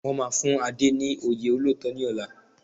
Wọ́n máa fún Ade ní oyè olóòótọ́ ní ọ̀la